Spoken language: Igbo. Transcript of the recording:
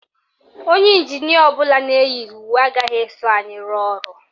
Onye ịnjinịa ọbụla na-eyighi uwe agaghị eso anyị rụọ ọrụ